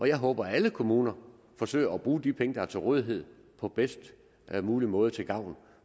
jeg håber at alle kommuner forsøger at bruge de penge der er til rådighed på bedst mulig måde til gavn